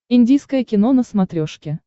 индийское кино на смотрешке